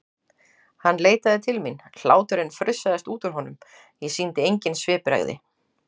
Hann leit til mín, hláturinn frussaðist út úr honum, ég sýndi engin svipbrigði.